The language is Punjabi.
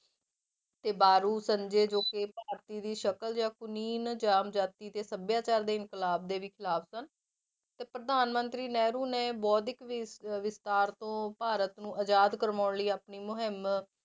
ਤੇ ਸੰਜੇ ਜੋ ਕਿ ਭਾਰਤੀ ਦੀ ਸ਼ਕਲ ਜਾਂ ਕੁਨੀਨ ਜਮਜਾਤੀ ਤੇ ਸਭਿਆਚਾਰ ਦੇ ਇੰਕਲਾਬ ਦੇ ਵੀ ਖਿਲਾਫ਼ ਸਨ, ਤੇ ਪ੍ਰਧਾਨ ਮੰਤਰੀ ਨਹਿਰੂ ਨੇ ਬੋਧਿਕ ਵਿ~ ਅਹ ਵਿਸਤਾਰ ਤੋਂ ਭਾਰਤ ਨੂੰ ਆਜ਼ਾਦ ਕਰਵਾਉਣ ਲਈ ਆਪਣੀ ਮੁਹਿੰਮ